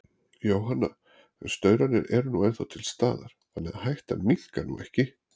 Jóhanna: En staurarnir eru nú ennþá til staðar, þannig að hættan minnkar nú ekki?